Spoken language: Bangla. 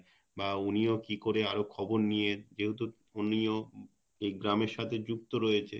বা উনিও কি করে আরও খবর নিয়ে যেহেতু উনিও এই গ্রামের সাথে যুক্ত রয়েছে